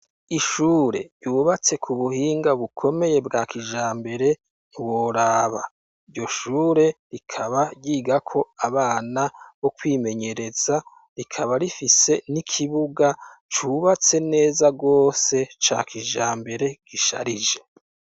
Ishure ryubatse kubuhinga bukomeye bwa kijambere ntiworaba, iryo shure rikaba ryigako abana bokwimenyereza rikaba rifise n’ikibuga cubatse neza gose ca kijambere gisharije.